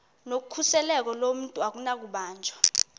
nokhuseleko lomntu akunakubanjwa